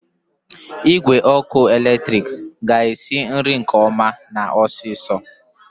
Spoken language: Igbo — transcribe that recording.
Igwe ọkụ eletrik ga-esi nri nke ọma na osiso.